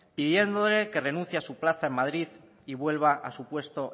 pidiéndole que renuncie a su plaza en madrid y vuelva a su puesto